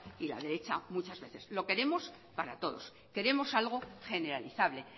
y la derecha muchas veces lo queremos para todos queremos algo generalizable